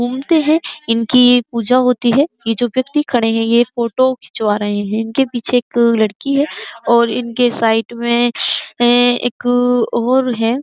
है। इनकी पूजा होती है। ये जो व्यक्ति खड़े है यह फोटो खिचवा रहे है। इनके पीछे एक लड़की है और इनके साइड में एक और है।